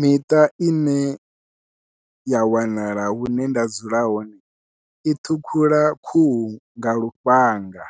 Miṱa ine ya wanala hune nda dzula hone i ṱhukhula khuhu nga lufhanga